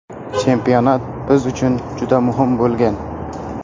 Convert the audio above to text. Chempionat biz uchun juda muhim bo‘lgan”.